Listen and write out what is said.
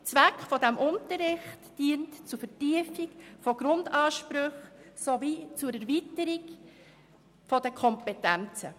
Zweck dieses Unterrichts ist die Vertiefung von Grundansprüchen sowie die Erweiterung von Kompetenzen.